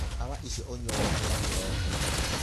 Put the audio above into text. Ndawa icio ũnyue waũkĩra kĩriko.